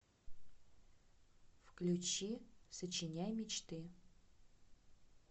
включи сочиняй мечты